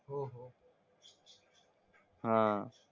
हां.